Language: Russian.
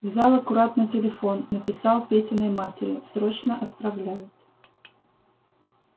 взял аккуратно телефон написал петиной матери срочно отправляют